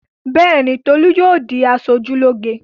Bẹ́ẹ̀ ni, Tolú yóò di aṣojúlóge.